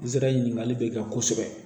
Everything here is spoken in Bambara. Nsɛrɛ ɲinikali bɛ kɛ kosɛbɛ